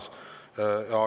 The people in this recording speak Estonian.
See plaan on olemas.